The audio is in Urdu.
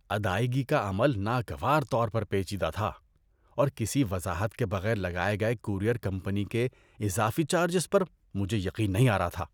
ادائیگی کا عمل ناگوار طور پر پیچیدہ تھا، اور کسی وضاحت کے بغیر لگائے گئے کورئیر کمپنی کے اضافی چارجز پر مجھے یقین نہیں آ رہا تھا۔